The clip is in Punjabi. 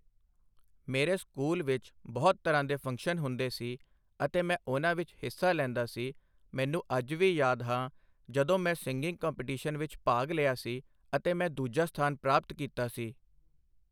ਮੇਰੇ ਸਕੂਲ ਵਿੱਚ ਬਹੁਤ ਤਰ੍ਹਾਂ ਦੇ ਫੰਕਸ਼ਨ ਹੁੰਦੇ ਸੀ ਅਤੇ ਮੈਂ ਉਹਨਾਂ ਵਿੱਚ ਹਿੱਸਾ ਲੈਂਦਾ ਸੀ ਮੈਨੂੰ ਅੱਜ ਵੀ ਯਾਦ ਹੈ ਜਦੋਂ ਮੈਂ ਸਿੰਗਿੰਗ ਕੰਮਪੀਟੀਸ਼ਨ ਵਿੱਚ ਭਾਗ ਲਿਆ ਸੀ ਅਤੇ ਮੈਂ ਦੂਜਾ ਸਥਾਨ ਪ੍ਰਾਪਤ ਕੀਤਾ ਸੀ